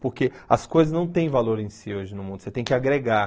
Porque as coisas não têm valor em si hoje no mundo, você tem que agregar.